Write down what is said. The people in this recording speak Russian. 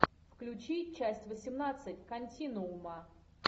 включи часть восемнадцать континуума